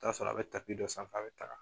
I bɛ taa sɔrɔ a bɛ dɔ sanfɛ a bɛ ta ka